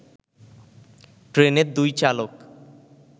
ট্রেনের দুই চালক